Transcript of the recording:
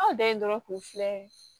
Aw dan ye dɔrɔn k'u filɛ